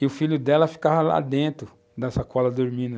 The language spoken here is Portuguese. e o filho dela ficava lá dentro, na sacola, dormindo.